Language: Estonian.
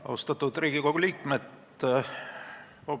Austatud Riigikogu liikmed!